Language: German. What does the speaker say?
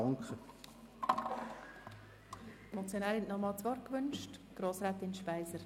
Die Motionärin hat noch einmal das Wort gewünscht.